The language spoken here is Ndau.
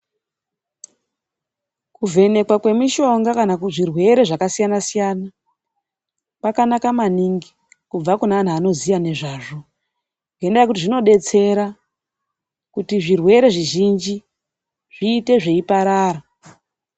Kuvhenekwa kwemishonga kana kuzvirwere zvakasiyana siyana kwakanaka maningi kubve kuantu anoziya nezvazvo. Ngendaa yekuti kunodetsera kuti zvirwere zvizhinji zviite zveiparara.